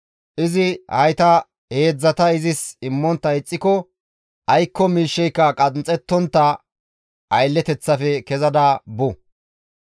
Izi hayta heedzdzata izis immontta ixxiko aykko miishsheyka qanxxettontta aylleteththafe kezada bu.